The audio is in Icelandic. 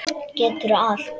Geturðu allt?